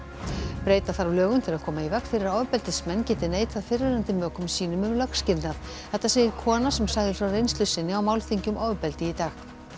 breyta þarf lögum til að koma í veg fyrir að ofbeldismenn geti neitað fyrrverandi mökum sínum um lögskilnað þetta segir kona sem sagði frá reynslu sinni á málþingi um ofbeldi í dag